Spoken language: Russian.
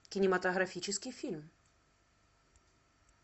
кинематографический фильм